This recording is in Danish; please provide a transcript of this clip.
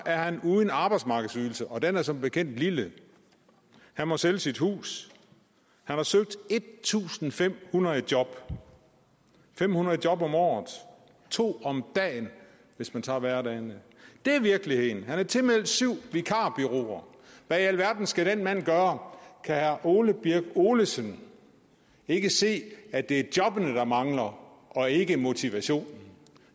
er han uden arbejdsmarkedsydelse og den er som bekendt lille han må sælge sit hus han har søgt en tusind fem hundrede job fem hundrede job om året to om dagen hvis man tager hverdagene det er virkeligheden han er tilmeldt syv vikarbureauer hvad i alverden skal den mand gøre kan herre ole birk olesen ikke se at det er jobbene der mangler og ikke motivationen